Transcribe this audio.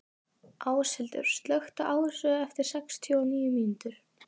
Áshildur, slökktu á þessu eftir sextíu og níu mínútur.